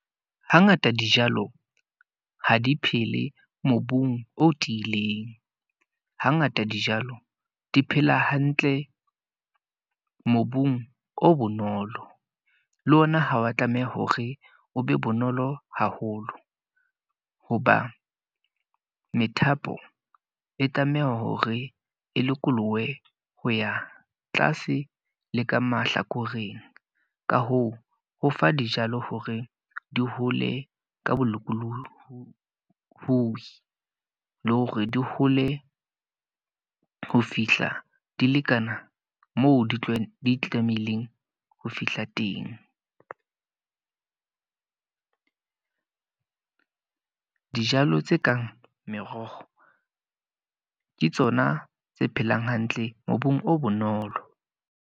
Ha ngata dijalo ha di phele mobung o tiileng. Ha ngata dijalo di phela hantle mobung o bonolo. Le ona ha wa tlameha hore o be bonolo haholo. Hoba methapo e tlameha hore e lokolohe ho ya tlase le ka mahlakoreng. Ka hoo, ho fa dijalo hore di hole ka bolokolohi, le hore di hole ho fihla di lekana moo di tla be di tlamehileng ho fihla teng. Dijalo tse kang meroho ke tsona tse phelang hantle mobung o bonolo.